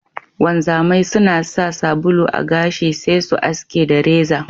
Wanzamai suna sa sabulu a gashi sai su aske da reza.